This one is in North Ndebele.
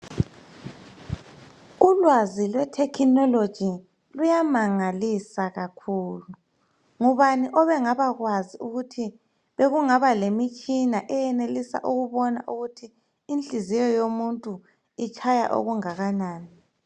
Ulwazi lwethekhinoloji luyamangalisa kakhulu, ngubani obengabakwazi ukuthi bekungaba lemitshina eyenelisa ukubona ukuthi inhliziyo yomuntu itshaya okungakanani.